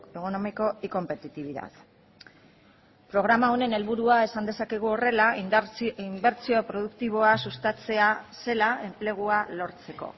económico y competitividad programa honen helburua esan dezakegu horrela inbertsio produktiboa sustatzea zela enplegua lortzeko